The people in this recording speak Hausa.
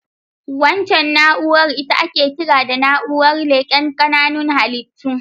Waccan na'urar ita ake kira da na'urar leƙen ƙananan halittu.